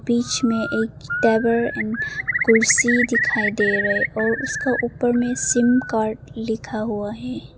बीच में एक टावर में कुर्सी दिखाई दे रहे और उसका ऊपर में सिम कार्ड लिखा हुआ है।